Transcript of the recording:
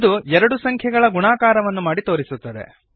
ಇದು ಎರಡು ಸಂಖ್ಯೆಗಳ ಗುಣಾಕಾರವನ್ನು ಮಾಡಿ ತೋರಿಸುತ್ತದೆ